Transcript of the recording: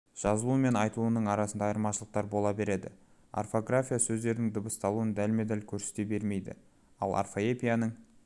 жазылуы мен айтылуының арасында айырмашылықтар бола береді орфография сөздердің дыбысталуын дәлме-дәл көрсете бермейді ал орфоэпияның